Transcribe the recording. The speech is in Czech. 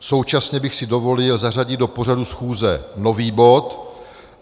Současně bych si dovolil zařadit do pořadu schůze nový bod.